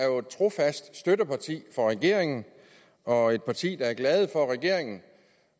jo er et trofast støtteparti for regeringen og et parti der er glad for regeringen